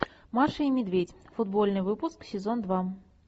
маша и медведь футбольный выпуск сезон два